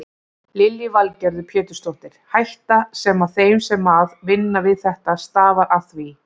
Lillý Valgerður Pétursdóttir: Hætta sem að þeim sem að vinna við þetta stafar af því?